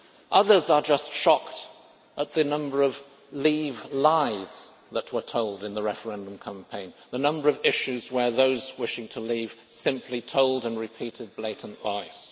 Others are just shocked at the number of Leave lies that were told in the referendum campaign, the number of issues where those wishing to leave simply told, and repeated, blatant lies.